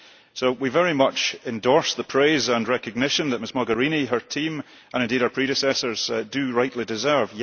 So we very much endorse the praise and recognition that Ms Mogherini, her team and indeed her predecessors do rightly deserve.